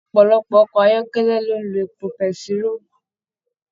Ọpọlọpọ ọkọ ayọkẹlẹ ló n ló èpo pẹ̀tiroo.